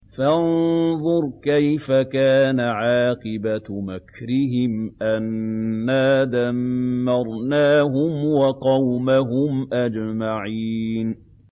فَانظُرْ كَيْفَ كَانَ عَاقِبَةُ مَكْرِهِمْ أَنَّا دَمَّرْنَاهُمْ وَقَوْمَهُمْ أَجْمَعِينَ